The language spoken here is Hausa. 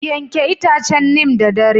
Yanke itacen neem da dare